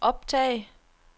optag